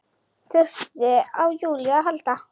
Þurfti á Júlíu að halda.